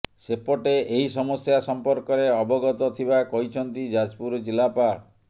ସେପଟେ ଏହି ସମସ୍ୟା ସମ୍ପର୍କରେ ଅବଗତ ଥିବା କହିଛନ୍ତି ଯାଜପୁର ଜିଲ୍ଲାପାଳ